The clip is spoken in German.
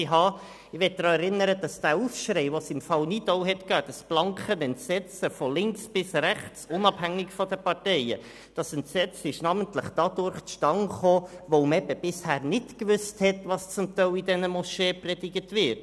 Ich möchte daran erinnern, dass der Aufschrei, den es im Fall Nidau gab, und das blanke Entsetzen von links bis rechts – unabhängig von den Parteien – namentlich deshalb zustande kam, weil man eben bisher nicht wusste, was zum Teil in diesen Moscheen gepredigt wird.